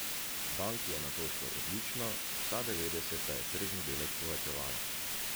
Banki je nato šlo odlično, vsa devetdeseta je tržni delež povečevala.